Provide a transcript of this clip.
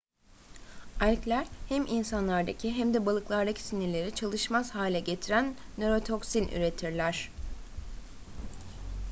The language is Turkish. algler hem insanlardaki hem de balıklardaki sinirleri çalışmaz hale getiren nörotoksin üretirler